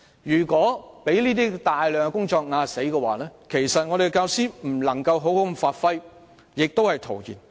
如果有大量工作積壓，令教師未能好好發揮所長，一切只會是徒然。